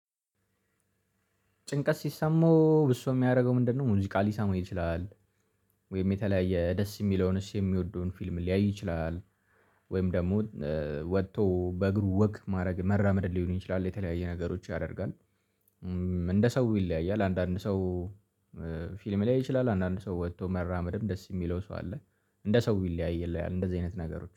ጭንቀት ሲሰማው ብዙ የሚያደርገው ምንድነው? ሙዚቃ ሊሰማ ይችላል። ወይም የተለያየ ደስ የሚለው እሱ የሚወደውን ፊልም ሊያይ ይችላል። ወይም ደግሞ ወጥቶ በእግሩ ወክ ማድረግ መራመድ ሊሆን ይችላል የተለያየ ነገሮች ያደርጋል። እንደ ሰው ይለያያል አንዳንድ ሰው። ፊልም ሊያይ ይችላል አንዳንድ ሰው ወጥቶ መራመድም ደስ የሚለው ሰው አለ። እንደ ሰው ይለያይል እንደዚህ አይነት ነገሮች